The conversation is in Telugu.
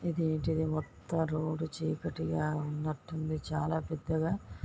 మొత్తం రోడ్డు చీకటిగా ఉన్నట్టు ఉంది. చాలా పెద్దగా--